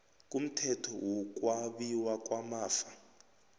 kumthetho wokwabiwa kwamafa